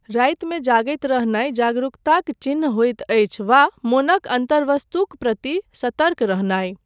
रातिमे जागैत रहनाय जागरूकताक चिह्न होइत अछि वा मोनक अन्तर्वस्तुक प्रति सतर्क रहनाय।